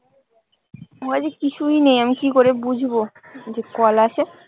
আমার কাছে কিছুই নেই। আমি কি করে বুঝবো যে, কল আছে?